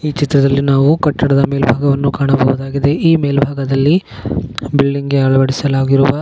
ಈ ಚಿತ್ರದಲ್ಲಿ ಕಟ್ಟಡದ ಮೇಲ್ಭಾಗವನ್ನು ಕಾಣಲಾಗಿದೆ ಈ ಮೇಲ್ಭಾಗದಲ್ಲಿ ಬಿಲ್ಡಿಂಗ್ ಅಳವಡಿಸಲಾಗಿರುವ --